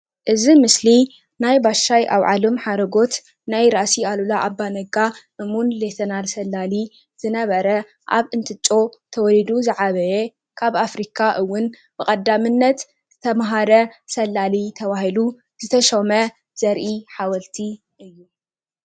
እዚ ምስሊ ናይ ባሻይ ኣውዓሎም ሓረጎት ናይ ራእሲ ኣሉላ ባነጋ ከምኡ እውን ሌተናል ሰላሊ ዝነበረ አብ እንትጮ ተወለዱ ዝዓበየ ካብ ኣፍሪካ እውን ብቀዳምነት ዝተማሃረ ሰላሊ ተባሂሉ ዝተሸመ ዘርኢ ሓወልቲ እዩ፡፡